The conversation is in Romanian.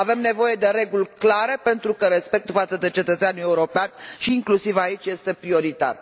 Avem nevoie de reguli clare pentru că respectul față de cetățeanul european și inclusiv aici este prioritar.